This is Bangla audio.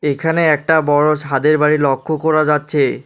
এখানে একটা বড় সাদের বাড়ি লক্ষ করা যাচ্ছে।